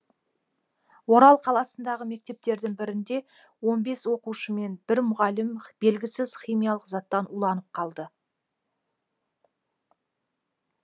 орал қаласындағы мектептердің бірінде он бес оқушы мен бір мұғалім белгісіз химиялық заттан уланып қалды